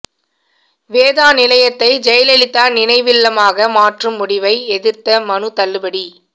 வேதா நிலையத்தை ஜெயலலிதா நினைவில்லமாக மாற்றும் முடிவை எதிர்த்த மனு தள்ளுபடி